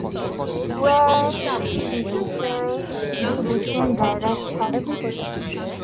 wey tchidi chikere be di feem director.